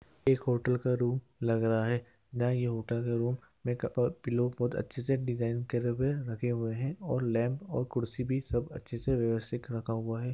Hotel के एक खूबसूरत कमरे में कई तकिए करीने से लगे हैं क्रीम रंग की कुर्सियाँ और क्रीम रंग के पर्दे भी हैं।